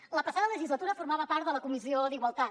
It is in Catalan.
a la passada legislatura formava part de la comissió d’igualtat